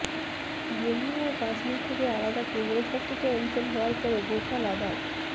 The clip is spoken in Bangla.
জম্মু ও কাশ্মীর থেকে আলাদা কেন্দ্রশাসিত অঞ্চল হওয়ার পরে গোটা লাদাখ